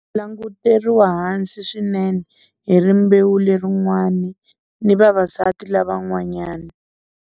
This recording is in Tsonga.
Languteriwa hansi swinene hi rimbewu lerin'wani ni vavasati lava n'wanyani.